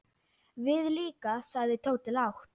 Við líka sagði Tóti lágt.